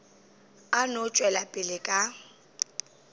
a no tšwela pele ka